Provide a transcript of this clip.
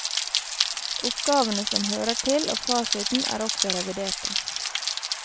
Oppgavene som hører til og fasiten er også reviderte.